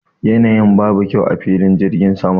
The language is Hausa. Yanayin babu kyau a filin jirgin sama